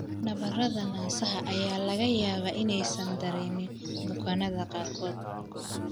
Nabarrada naasaha ayaa laga yaabaa inaysan dareemin bukaanada qaarkood.